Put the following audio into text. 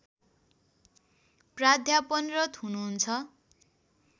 प्राध्यापनरत हुनुहुन्छ